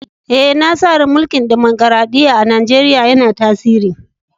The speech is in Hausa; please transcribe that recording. Eh, na sa rai mulki'n dimokuradiyya'n a'Nijeriya yanna tasiri.